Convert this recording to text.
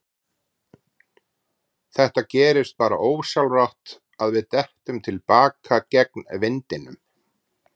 Það gerist bara ósjálfrátt að við dettum til baka gegn vindinum.